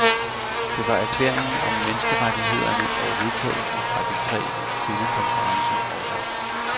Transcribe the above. Det var erklæringen om menneskerettigheder og vedtagelserne fra de tre kvindekonferencer også.